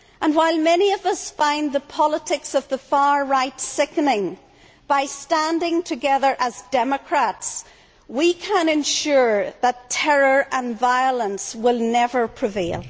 While many of us find the politics of the far right sickening, by standing together as democrats we can ensure that terror and violence will never prevail.